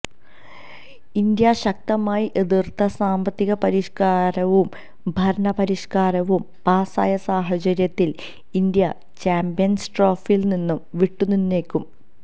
India ശക്തമായി എതിര്ത്ത സാമ്പത്തിക പരിഷ്ക്കാരവും ഭരണ പരിഷ്്്കാരവും പാസായ സാഹചര്യത്തില് ഇന്ത്യ ചാമ്പന്സ്ട്രോഫിയി നിന്ന് വിട്ടുനിന്നേക്കും